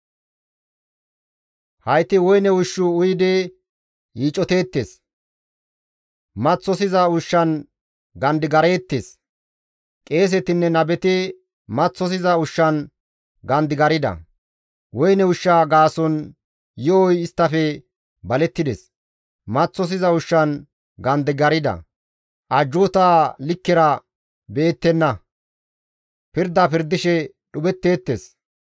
Hayti woyne ushshu uyidi yiicoteettes; maththosiza ushshan gandigareettes. Qeesetinne nabeti maththosiza ushshan gandigarda; woyne ushsha gaason yo7oy isttafe balettides; maththosiza ushshan gandigarda; ajjuutaa likkera be7ettenna; pirda pirdishe dhuphetteettes.